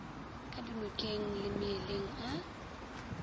ka dinokeng le meeleng a